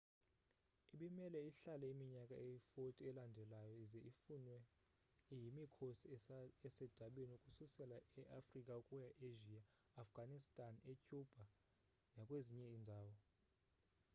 ibimele ihlale iminyaka eyi-40 elandelayo ize ifunwe yimikhosi esedabini ukususela eafrica ukuya easia eafghanistan ecuba nakwezinye iindawo